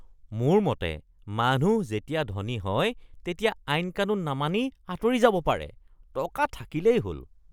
মোৰ মতে মানুহ যেতিয়া ধনী হয় তেতিয়া আইন কানুন নামানি আঁতৰি যাব পাৰে। টকা থাকিলেই হ'ল! (ব্যক্তি ২)